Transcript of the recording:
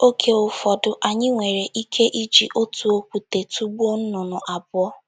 Oge ụfọdụ, anyị nwere ike iji otu okwute tụgbuo nnụnụ abụọ.